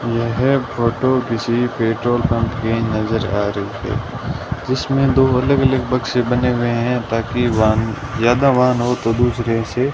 यह फोटो किसी petrol pump की नजर आ रही है जीसमें दो अलग अलग बक्से बने हुए हैं ताकि वा ज्यादा वाहन हो तो दूसरे से --